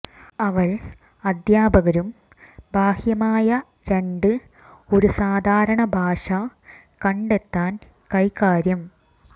അവൾ അധ്യാപകരും ബാഹ്യമായ രണ്ട് ഒരു സാധാരണ ഭാഷ കണ്ടെത്താൻ കൈകാര്യം